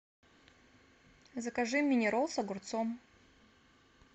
закажи мини ролл с огурцом